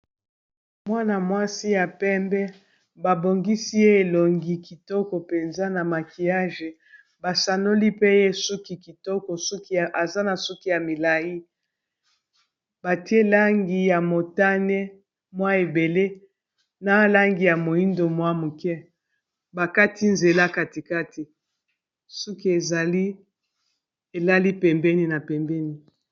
mwana-mwasi ya pembe babongisi ye elongi kitoko mpenza na makiyage basanoli pe ye suki kitoko suki eza na suki ya milai batie langi ya motane mwa ebele na langi ya moindo mwa muke bakati nzela katikati suki ezali elali pembeni na pembeni